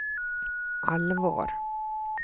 allvar